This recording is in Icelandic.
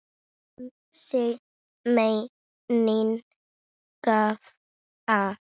Um sig meinin grafa.